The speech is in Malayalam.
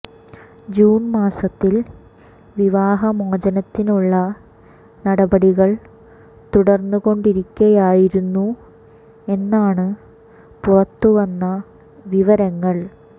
ജൂൺ മാസത്തിൽ വിവാഹ മോചനത്തിനുള്ള നടപടികൾ തുടർന്നു കൊണ്ടിരിക്കയായിരുന്നു എന്നാണ് പുറത്തുവന്ന വിവരങ്ങൾ